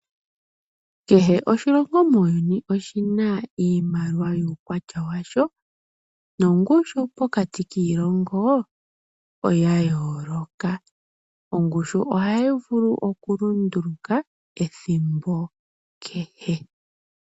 Kehe oshilongo muuyuni oshina iimaliwa yuukwatya washo nongushu pokati kiilongo oyayooloka. Ongushu ohayi vulu okulunduluka ethimbo kehe.